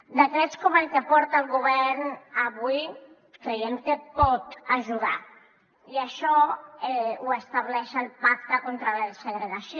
decrets com el que porta el govern avui creiem que poden ajudar i això ho estableix el pacte contra la segregació